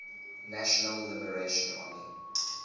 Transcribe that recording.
national liberation army